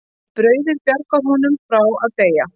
Brauðið bjargar honum frá að deyja.